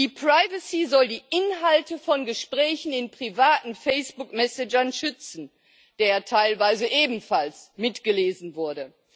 ePrivacy soll die Inhalte von Gesprächen in privaten Facebook Messengern schützen, die teilweise ebenfalls mitgelesen wurden.